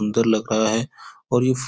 सुन्दर लग रहा है और ये फु --